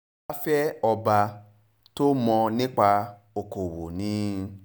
aláfẹ́ ọba tó mọ̀ nípa okòòwò ni